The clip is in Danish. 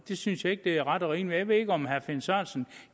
det synes jeg ikke er ret og rimeligt jeg ved ikke om herre finn sørensen